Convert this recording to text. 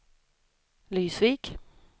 Lysvik